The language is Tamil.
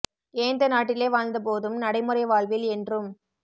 ஏந்த நாட்டிலே வாழ்ந்தபோதும் நடைமுறைவாழ்வில் என்றும்